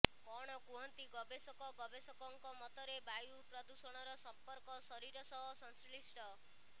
କଣ କୁହନ୍ତି ଗବେଷକ ଗବେଷକଙ୍କ ମତରେ ବାୟୁ ପ୍ରଦୂଷଣର ସଂପର୍କ ଶରୀର ସହ ସଂଶ୍ଳିଷ୍ଟ